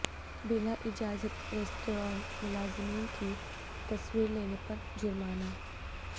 بلا اجازت ریستوران ملازمین کی تصویر لینے پر جرمانہ